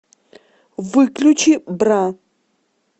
выключи бра